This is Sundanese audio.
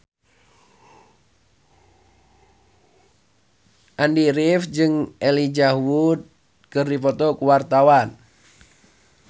Andy rif jeung Elijah Wood keur dipoto ku wartawan